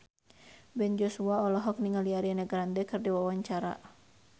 Ben Joshua olohok ningali Ariana Grande keur diwawancara